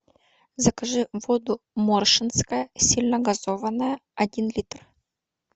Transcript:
закажи воду моршинская сильногазованная один литр